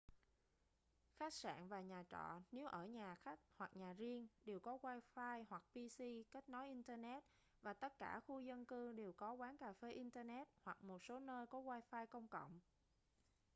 khách sạn và nhà trọ nếu ở nhà khách hoặc nhà riêng đều có wifi hoặc pc kết nối internet và tất cả khu dân cư đều có quán cà phê internet hoặc một số nơi có wifi công cộng